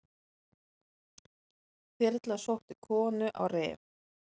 Þyrla sótti konu á Rif